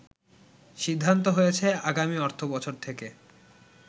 সিদ্ধান্ত হয়েছে আগামী অর্থ বছর থেকে